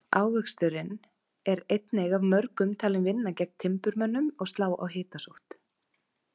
Ávöxturinn er einnig af mörgum talinn vinna gegn timburmönnum og slá á hitasótt.